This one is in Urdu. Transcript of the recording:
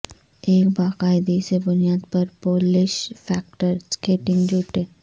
ایک باقاعدگی سے بنیاد پر پولش فیکٹر سکیٹنگ جوتے